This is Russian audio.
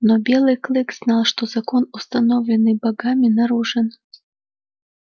но белый клык знал что закон установленный богами нарушен